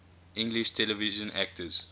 english television actors